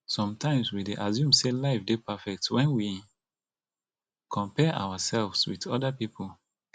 sometimes we dey assume sey life dey perfect when we compare ourselves with oda pipo